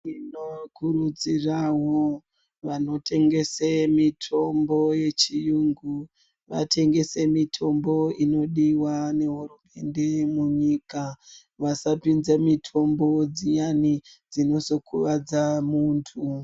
Timokurudzirawo vanotengese mutombo yechiyungu vatengese mitombo inodiwa munyika vasapinze mitombo dziyani dzinozokuwadza muntu.